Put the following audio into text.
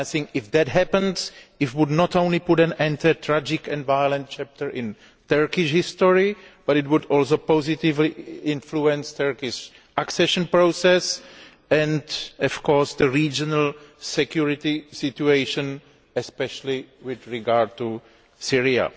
If that happens, I think it would not only put an end to a tragic and violent chapter in Turkish history, it would also positively influence the Turkish accession process and, of course, the regional security situation, especially with regard to Syria.